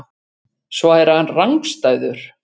Svo er hann rangstæður.